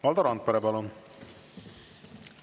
Valdo Randpere, palun!